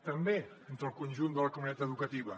també entre el conjunt de la comunitat educativa